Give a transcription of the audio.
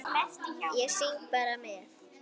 Ég syng bara með.